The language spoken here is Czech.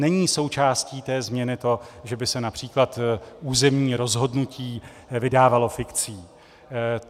Není součástí té změny to, že by se například územní rozhodnutí vydávalo fikcí.